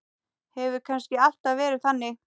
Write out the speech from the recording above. Hefur kannski alltaf verið þannig?